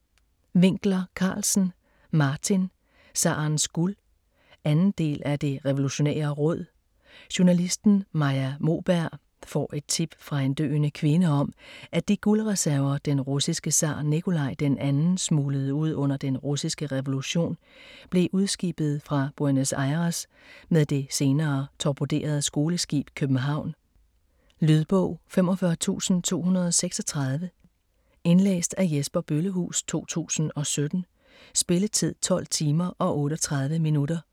Winckler-Carlsen, Martin: Zarens guld 2. del af Det Revolutionære Råd. Journalisten Maja Moberg får et tip fra en døende kvinde om, at de guldreserver, den russiske zar Nikolaj den 2. smuglede ud under den russiske revolution, blev udskibet fra Buenos Aires med det senere torpederede skoleskib København. Lydbog 45236 Indlæst af Jesper Bøllehuus, 2017. Spilletid: 12 timer, 38 minutter.